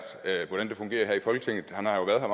hvordan det fungerer her i folketinget han har jo været her